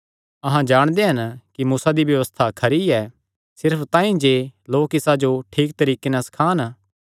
अहां जाणदे हन कि मूसा दी व्यबस्था खरी ऐ सिर्फ तांई जे लोक इसा जो ठीक तरीके नैं सखान